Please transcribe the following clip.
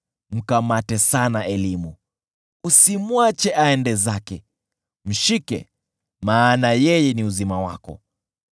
Mkamate sana elimu, usimwache aende zake; mshike, maana yeye ni uzima wako.